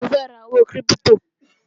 Mo fẹ́ ra owó kírípítò